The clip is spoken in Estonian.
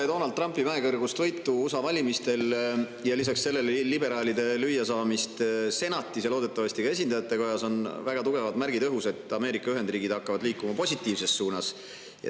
Peale Donald Trumpi mäekõrgust võitu USA valimistel ja lisaks sellele liberaalide lüüasaamist senatis ja loodetavasti ka esindajatekojas on õhus väga tugevad märgid, et Ameerika Ühendriigid hakkavad liikuma positiivses suunas.